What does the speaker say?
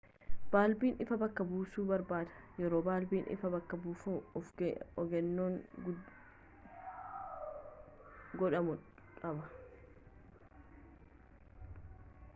baalbiin ifaa bakka buusuu barbaada yeroo baalbiin ifaa bakka buufamu of eeggannoon gudhamuu qaba